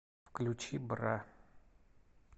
включи бра